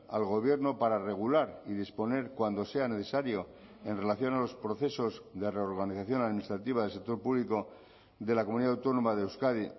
al gobierno para regular y disponer cuando sea necesario en relación a los procesos de reorganización administrativa del sector público de la comunidad autónoma de euskadi